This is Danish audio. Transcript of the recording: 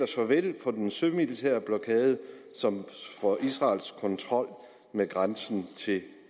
såvel den sømilitære blokade som for israels kontrol med grænsen til